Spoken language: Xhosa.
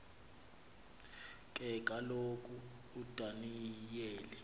ke kaloku udaniyeli